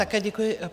Také děkuji.